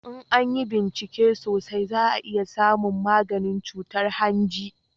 in an yi bincike sosai za a samu maganin cutar hanji